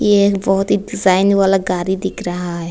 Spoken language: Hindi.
ए एक बहुत ही डिजाइन वाला गाड़ी दिख रहा है।